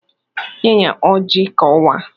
"Nye ya ọji ka ọ waa"